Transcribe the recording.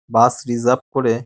বাস reserve করে --